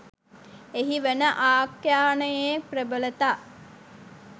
එහි වන ආඛ්‍යානයේ ප්‍රබලතා